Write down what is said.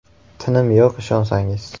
Tinim yo‘q ishonsangiz.